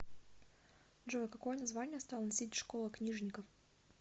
джой какое название стала носить школа книжников